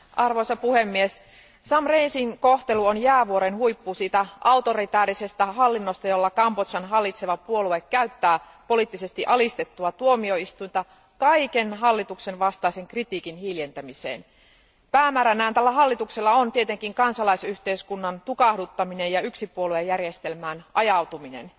Arvoisa puhemies, Sam Rainsyn kohtelu on jäävuoren huippu siitä autoritaarisesta hallinnosta, jolla Kambodžan hallitseva puolue käyttää poliittisesti alistettua tuomioistuinta kaiken hallituksenvastaisen kritiikin hiljentämiseen. Päämääränään tällä hallituksella on tietenkin kansalaisyhteiskunnan tukahduttaminen ja yksipuoluejärjestelmään ajautuminen.